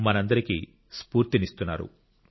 మనందరికీ స్ఫూర్తినిస్తున్నారు